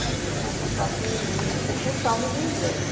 Que às vezes não é tão fácil no início por causa do inglês.